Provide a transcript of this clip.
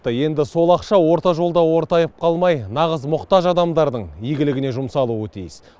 енді сол ақша орта жолда ортайып қалмай нағыз мұқтаж адамдардың игілігіне жұмсалуы тиіс